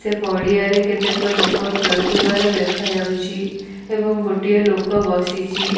ସେ ପଡିଆ ରେ କେତେକ ଲୋକ ଖେଳୁଥିବାର ଦେଖାଯାଉଛି ଏବଂ ଗୋଟିଏ ଲୋକ ବସିଚି ।